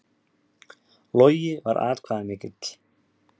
Logi var atkvæðamikill